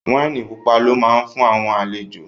Wáìnì pupa lọ́ ma fún àwọn àlejò